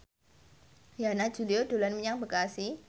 Yana Julio dolan menyang Bekasi